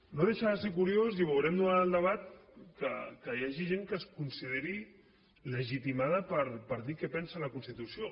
no deixa de ser curiós i ho veurem durant el debat que hi hagi gent que es consideri legitimada per dir què pensa de la constitució